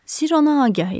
Sirr ona agah idi.